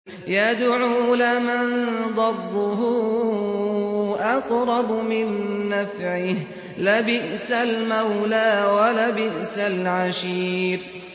يَدْعُو لَمَن ضَرُّهُ أَقْرَبُ مِن نَّفْعِهِ ۚ لَبِئْسَ الْمَوْلَىٰ وَلَبِئْسَ الْعَشِيرُ